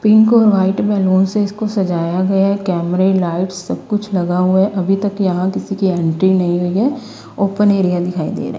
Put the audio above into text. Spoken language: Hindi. पिंक और व्हाइट बैलून से इसको सजाया गया कैमरे लाइट्स सब कुछ लगा हुआ है अभी तक यहां किसी की एंट्री नहीं हुई है ओपन एरिया दिखाई दे रहा है।